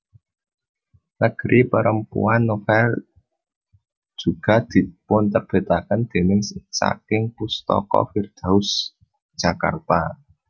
Negeri Perempuan novel juga dipunterbitaken déning saking Pustaka Firdaus Jakarta